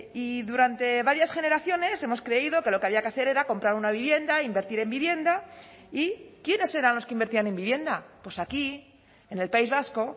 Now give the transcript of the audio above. y durante varias generaciones hemos creído que lo que había que hacer era comprar una vivienda invertir en vivienda y quiénes eran los que invertían en vivienda pues aquí en el país vasco